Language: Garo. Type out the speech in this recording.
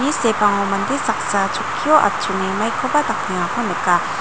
sepango mande saksa chokkio atchonge maikoba dakengako nika.